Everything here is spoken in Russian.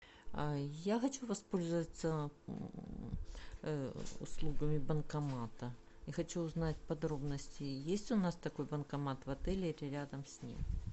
я хочу воспользоваться услугами банкомата и хочу узнать подробности есть у нас такой банкомат в отеле или рядом с ним